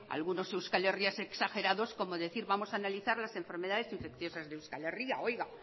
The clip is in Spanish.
algunos euskalherrias exagerados como decir vamos a analizar las enfermedades infecciosas de euskal herria